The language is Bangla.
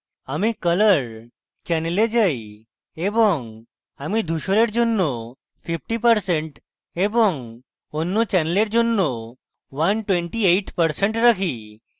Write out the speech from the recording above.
আমি color channel যাই এবং আমি ধূসরের জন্য 50% এবং অন্য channel জন্য 128% রাখি